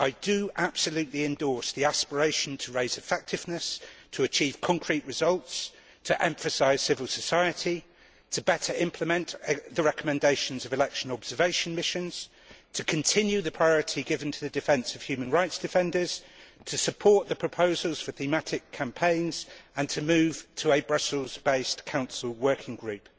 I absolutely endorse the aspiration to raise effectiveness, to achieve concrete results, to emphasise civil society, to better implement the recommendations of election observation missions, to continue the priority given to the defence of human rights defenders, to support the proposals for thematic campaigns and to move to a Brussels based Council working group.